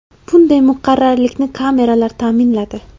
Bunday muqarrarlikni kameralar ta’minladi.